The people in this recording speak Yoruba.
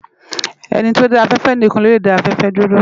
Eni ti ó dã áfèfè nikán ló lè dá áfèfè dúró